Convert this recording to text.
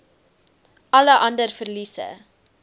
alle ander verliese